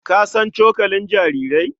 Ka san cokali jarirai?